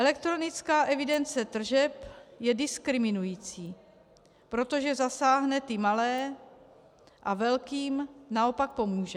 Elektronická evidence tržeb je diskriminující, protože zasáhne ty malé a velkým naopak pomůže.